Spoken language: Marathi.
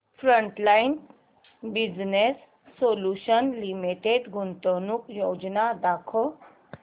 फ्रंटलाइन बिजनेस सोल्यूशन्स लिमिटेड गुंतवणूक योजना दाखव